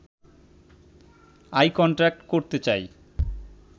I contact করতে চাই